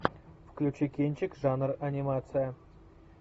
включи кинчик жанр анимация